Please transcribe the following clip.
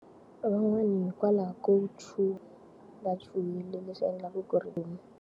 Van'wana hikwalaho ko chuha. Va chuhile leswi endlaku ku ri.